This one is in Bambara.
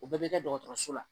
O bɛɛ bɛ kɛ dɔgɔtɔrɔso la